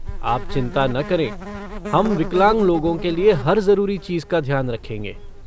आप चिंता ना करें, हम विकलांग लोगों के लिये हर ज़रूरी चीज़ का ध्यान रखेंगे।